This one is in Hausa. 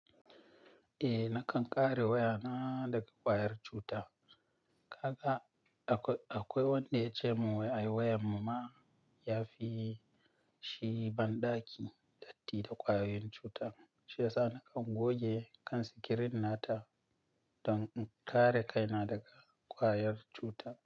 Eh, na kan ƙare wayana daga ƙwayar cuta. Kaga akwai wanda ya ce mun wai ai wayan mu ma yafi, shi banɗaki datti da ƙwayoyin cuta, shi yasa na kan goge kan sikirin nata dan in ƙare kaina daga ƙwayar cuta.